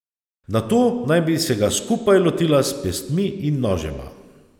Nato naj bi se ga skupaj lotila s pestmi in nožema.